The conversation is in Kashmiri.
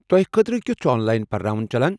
تۄہہ خٲطرٕ کِیٚتُھ چُھ آن لاین پرناوُن چلان۔